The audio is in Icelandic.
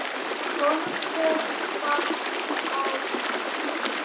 Horfði hvasst á mig.